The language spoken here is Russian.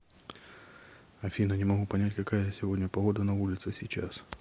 афина не могу понять какая сегодня погода на улице сейчас